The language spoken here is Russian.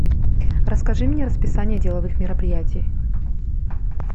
расскажи мне расписание деловых мероприятий